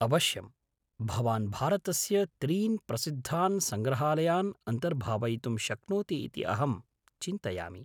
अवश्यम्! भवान् भारतस्य त्रीन् प्रसिद्धान् सङ्ग्रहालयान् अन्तर्भावयितुं शक्नोति इति अहं चिन्तयामि।